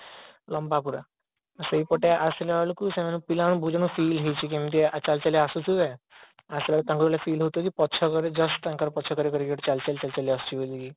ଲାମ୍ବା ପୁରା ସେଇପଟେ ଆସିଲା ବେଳକୁ ସେମାନେ ପିଲାମାନେ ହଉଛି କେମିତିକା ଚାଲି ଚାଲି ଆସୁଥିବେ ଆସିଲା ବେଳେ ତାଙ୍କୁ feel ହଉଥିବ କି ପଛ କରେ ତାଙ୍କର just ପଛ କରେ କିଏ ଗୋଟା ଚାଲି ଚାଲି ଆସୁଛି ବୋଲିକି